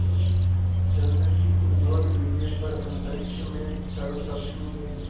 चंद्र की उज्ज्वल विजय पर अंतरिक्ष में शरदलक्ष्मी ने